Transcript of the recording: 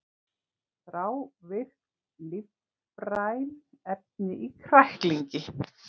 Þrávirk lífræn efni í kræklingi